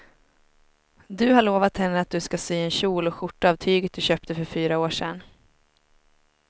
Du har lovat henne att du ska sy en kjol och skjorta av tyget du köpte för fyra år sedan.